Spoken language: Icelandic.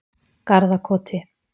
Garðakoti